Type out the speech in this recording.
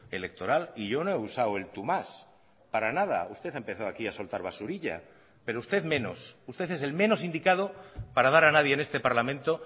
electoral y yo no he usado el tú más para nada usted ha empezado aquí a soltar basurilla pero usted menos usted es el menos indicado para dar a nadie en este parlamento